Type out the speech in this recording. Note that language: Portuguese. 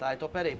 Tá, então peraí.